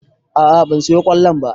A'a ban siyo ƙwallon ba